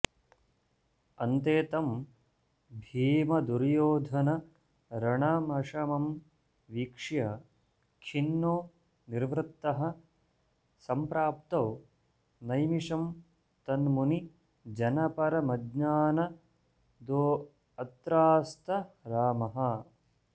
अन्ते तं भीमदुर्योधनरणमशमं वीक्ष्य खिन्नो निवृत्तः सम्प्राप्तो नैमिषं तन्मुनिजनपरमज्ञानदोऽत्रास्त रामः